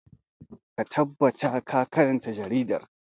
Ka tabbata ka karanta jaridar!